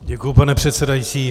Děkuji, pane předsedající.